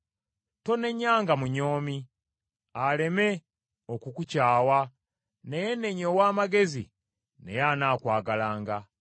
Tonenyanga munyoomi, aleme okukukyawa, naye nenya ow’amagezi naye anaakwagalanga.